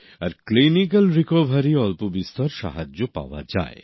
আর clinical recovery অল্পবিস্তর সাহায্য পাওয়া যায়